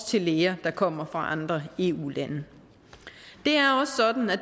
til læger der kommer fra andre eu lande